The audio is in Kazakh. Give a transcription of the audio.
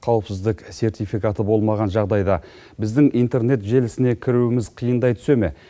қауіпсіздік сертификаты болмаған жағдайда біздің интернет желісіне кіруіміз қиындай түсе ме